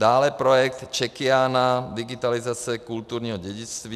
Dále projekt Czechiana, digitalizace kulturního dědictví.